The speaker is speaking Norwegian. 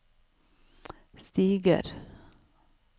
stiger